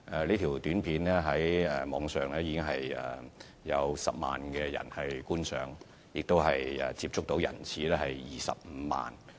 這輯短片在網上已得到10萬人觀賞，接觸人次達25萬之多。